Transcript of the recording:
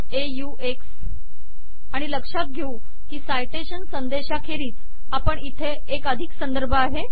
ox आणि लक्ष्यात घेऊ की साइटेशन संदेशाखेरीस आपण इथे एक अधिक संदर्भ आहे